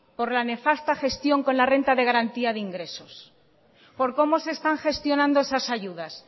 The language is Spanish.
por la nefasta gestión con la renta de garantía de ingresos por cómo se están gestionando esas ayudas